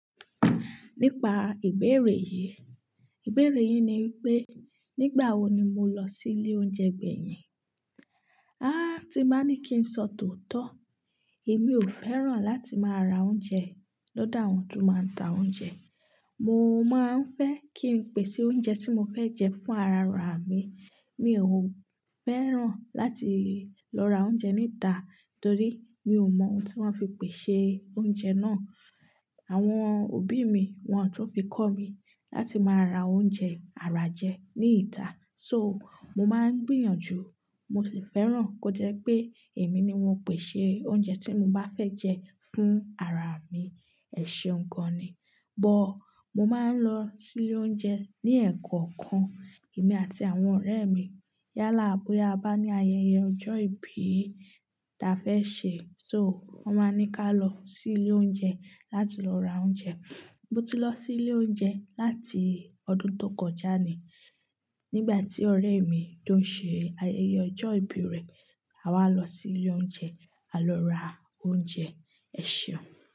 Nípa ìbéèrè yí. Ìbéèrè yín ni wípé, nígbà wo ni mo lọ sí ilé oúnjẹ gbẹ̀yìn? Háá, tí mo bá ní kí n sọ tòótọ́, èmi ò fẹ́ràn láti máa ra oúnjẹ lọ́dọ̀ àwọn tó máa ń ta oúnjẹ. Mo máa ń fẹ́ kí n pèsè oúnjẹ tí mo fẹ́ jẹ fún arara mi. Mi ò fẹ́ràn láti lọ ra oúnjẹ níta torí mi ò mọ ohun tí wọ́n fi pèsè oúnjẹ náà. Àwọn òbí mi, wọn tun fi kọ́ mi láti máa ra oúnjẹ àrà jẹ ní ita. So, mo máa ń gbìyànjú, mo sì fẹ́ràn kó jẹ́ pé èmi ni mo pèsè oúnjẹ tí mo bá fẹ́ jẹ fún ara mi, ẹ̀ ṣeun gan ni. But, mo máa ń lọ sí ilé oúnjẹ ní ẹ́ẹ̀kọ̀kan, èmi àti àwọn ọ̀rẹ́ mi. Yálà bóya a bá ní ayẹyẹ ọjọ́ ìbí ta fẹ́ ṣe. So, wón máa ń ní ká lọ sí ilé oúnjẹ láti lọ ra oúnjẹ. Mo ti lọ sí ilé oúnjẹ láti ọdún tó kọjá ni. Nígbà tí ọ̀rẹ́ mi tó ń ṣe ayẹyẹ ọjọ́ ìbí rẹ̀, à wa lọ sí ilé oúnjẹ, a lọ ra oúnjẹ, ẹ̀ ṣeun.